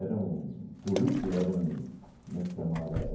um currículo, era um... como é que se chamava?